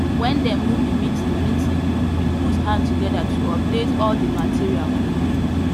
when them move the meeting meeting we put hand together to update all the material quick quick